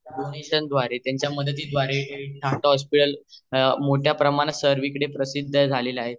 donation द्वारे आणि त्यांच्या मदती द्वारे मोठ्या प्रमाणत सर्वी कडे प्रसिद्ध झालेल है